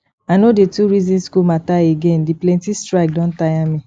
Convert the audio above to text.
i no dey too reason school matter again the plenty strike don tire me